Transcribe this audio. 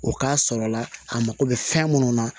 O k'a sɔrɔ la a mako bɛ fɛn minnu na